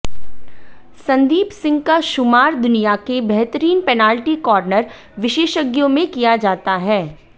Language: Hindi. संदीप सिंह का शुमार दुनिया के बेहतरीन पेनालटी कार्नर विशेषज्ञों में किया जाता है